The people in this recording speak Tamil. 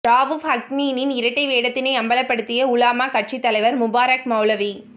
ரவூப் ஹக்கீமின் இரட்டை வேடத்தினை அம்பலப்படுத்திய உலமா கட்சித்தலைவர் முபாறக் மௌலவி